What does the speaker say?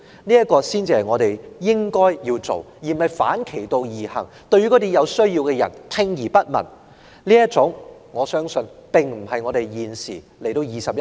這才是我們應做的事，而非反其道而行，對有需要的人聽而不聞，而我相信這種做法並非香港在現今21世紀應有的態度。